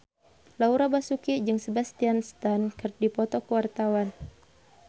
Laura Basuki jeung Sebastian Stan keur dipoto ku wartawan